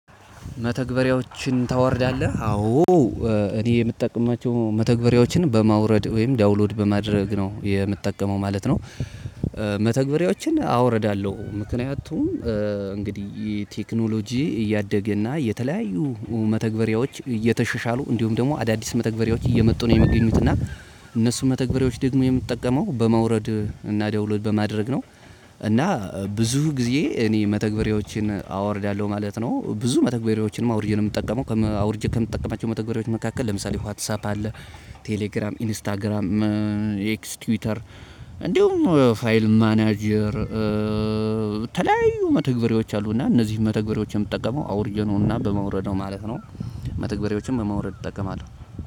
መተግበሪያዎችን ታወርዳለህ አዎ እኔ የምጠቅማቸው መተግበሪያዎችን በማውረድ ወይም ዳውንሎድ በማድረግ ነው የምትጠቀመው ማለት ነው? መተግበሪያዎችን አወርዳለሁ ምክንያቱም እንግዲህ ቴክኖሎጂ እያደገ እና የተለያዩ መተግበሪያዎች እየተሸሻሉ እንዲሁም ደግሞ አዳዲስ መተግበሪያዎች እየመጡ ነው የሚገኙት እና እነሱ መተግበሪያዎች ደግሞ የምጠቀመው በማውረድ እና ዳውሎድ በማድረግ ነው። እና ብዙ ጊዜ እኔ መተግበሪያዎችን አወርዳለሁ ማለት ነው ብዙ መተግበሪያዎችንም አውርጄ ነው የምጠቀመው። አውርጄ ከምጠቀማቸው መተግበሪያዎች መካከል ለምሳሌ ዋትሳፕ አለ። ቴሌግራም ኢንስታግራም ኤክስ ትዊተር እንዲሁም ማናጀር። የተለያዩ መተግበሪያዎች አሉና እነዚህን መተግበሪያዎች የምጠቀመው አውርጄ ነውና በማውረድ ነው ማለት ነው። መተግበሪያዎችን በማውረድ እጠቀማለሁ።